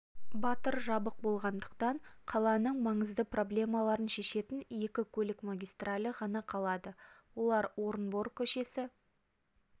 батыр жабық болатындықтан қаланың маңызды проблемаларын шешетін екі көлік магистралі ғана қалады олар орынбор к-сі